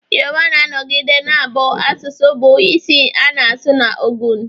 Yoruba ga-anọgide na-abụ asụsụ bụ isi a na-asụ na Ogun